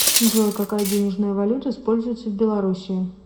джой какая денежная валюта используется в белоруссии